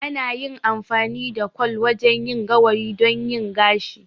Ana yin amfani da kwal wajen yin gawayi don yin gashi.